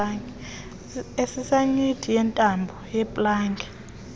esisinyithi yentambo yeplagi